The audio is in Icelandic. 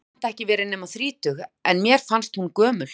Hún hefur samt ekki verið nema þrítug, en mér fannst hún gömul.